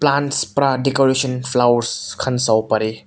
plants para decoration flowers khan sabo pare.